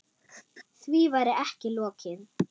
Því væri ekki lokið.